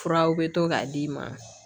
Furaw bɛ to k'a d'i ma